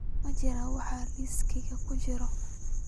Ma jiraan wax liiskayga ku jira?